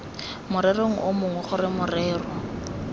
morerong o mongwe gore morero